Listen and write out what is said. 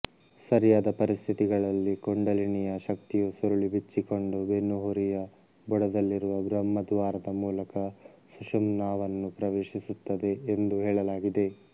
ಸರಿಯಾದ ಪರಿಸ್ಥಿತಿಗಳಲ್ಲಿ ಕುಂಡಲಿನಿಯ ಶಕ್ತಿಯು ಸುರುಳಿ ಬಿಚ್ಚಿಕೊಂಡು ಬೆನ್ನುಹುರಿಯ ಬುಡದಲ್ಲಿರುವ ಬ್ರಹ್ಮ ದ್ವಾರದ ಮೂಲಕ ಸುಷುಮ್ನಾವನ್ನು ಪ್ರವೇಶಿಸುತ್ತದೆ ಎಂದು ಹೇಳಲಾಗಿದೆ